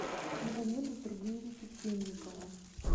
магомеда сергеевича темникова